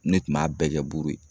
Ne tun b'a bɛɛ kɛ buru ye.